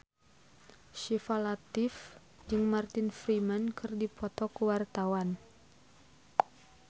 Syifa Latief jeung Martin Freeman keur dipoto ku wartawan